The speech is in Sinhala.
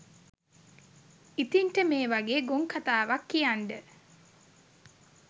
ඉතින්ට මේ වගේ ගොන් කතාවක් කියන්ඩ